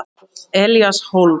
Elías Hólm.